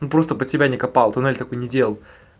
ну просто под себя не копал туннель такой не делал